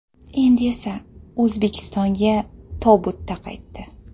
Endi esa O‘zbekistonga tobutda qaytdi.